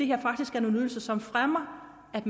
her faktisk er nogle ydelser som fremmer at